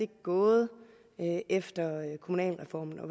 gået efter kommunalreformen